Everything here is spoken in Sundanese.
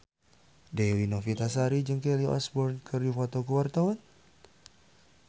Dewi Novitasari jeung Kelly Osbourne keur dipoto ku wartawan